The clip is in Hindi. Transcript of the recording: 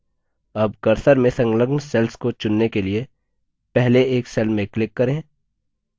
अब cursor से संलग्न cells को चुनने के लिए पहले एक cells में click करें